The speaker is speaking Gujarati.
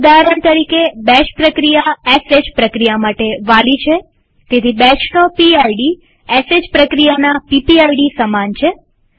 ઉદાહરણ તરીકેબેશ પ્રક્રિયા શ પ્રક્રિયા માટે વાલી છેતેથી બેશનો પીડ એ શ પ્રક્રિયાના પીપીઆઈડી સમાન છે